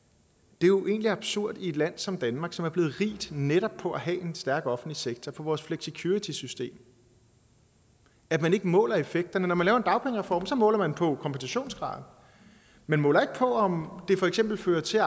det er jo egentlig absurd i et land som danmark som er blevet rigt netop på at have en stærk offentlig sektor på vores flexicuritysystem at man ikke måler effekterne når man laver en dagpengereform måler man på kompensationsgraden man måler ikke på om det for eksempel fører til at